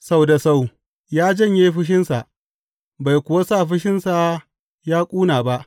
Sau da sau ya janye fushinsa bai kuwa sa fushinsa yă ƙuna ba.